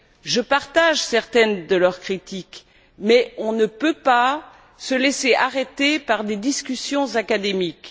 Je partage certaines de leurs critiques, mais on ne peut pas se laisser arrêter par des discussions académiques.